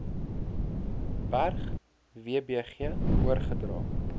berg wbg oorgedra